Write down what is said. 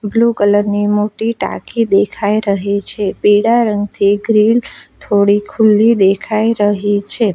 Blue colour ની મોટી ટાંકી દેખાય રહી છે પીળા રંગ થી ગ્રીલ થોડી ખુલ્લી દેખાઈ રહી છે.